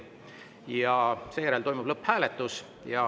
Ja seejärel toimub lõpphääletus.